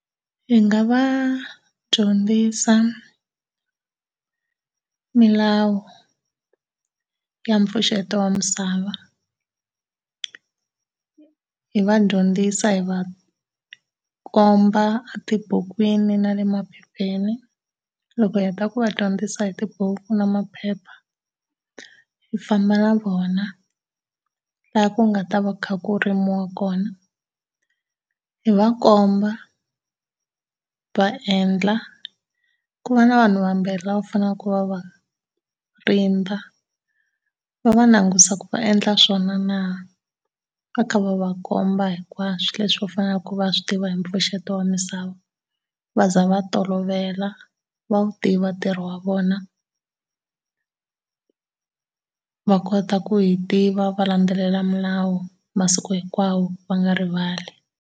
Hi nga va dyondzisa milawu ya mpfuxeto wa misava. Hi va dyondzisa hi va komba etibukwini na le maphepheni, loko hi heta ku va dyondzisa hi tibuku na maphepha, hi famba na vona laha ku nga ta va ku kha ku rimiwa kona, hi va komba, va endla ku va na vanhu vambirhi lava fanele ku va va va va langutisa ku va endla swona na, va kha va va komba hinkwaswo leswi va faneleke va swi tiva hi mpfuxeto wa misava va ze va tolovela va wu tiva ntirho wa vona. Va kota ku yi tiva va landzelela milawu masiku hinkwawo va nga rivali.